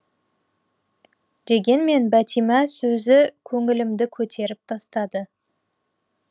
дегенмен бәтима сөзі көңілімді көтеріп тастады